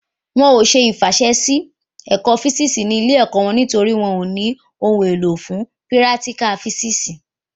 Won ò ṣe ìfàsẹsí sí ẹ̀ka físìsì ní ilé ẹ̀kọ́ wọn nítorí wọn ò ní ohun èlò fún pírátíkà físìsì